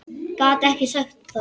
Gat ekki sagt það.